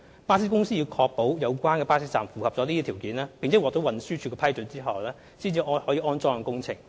巴士公司在確保有關巴士站符合上述條件，並獲得運輸署批准後，才可進行安裝工程。